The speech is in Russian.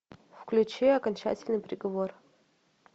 включи окончательный приговор